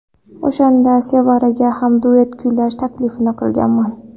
O‘shanda Sevaraga ham duet kuylash taklifini qilganman.